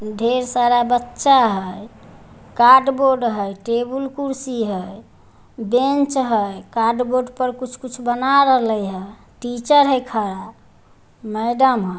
ढेर सारा बच्चा हई कार्ड बोर्ड हई टेबल खुर्शी हई बेंच हई कार्ड बोर्ड पर कुछ बना रहल हई टीचर हे खड़ा मेडम ह।